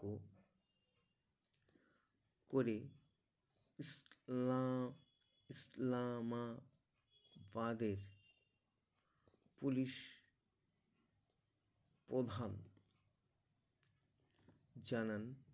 করে ইসলাম ইসলামা বাদের Police প্রধান চেচেন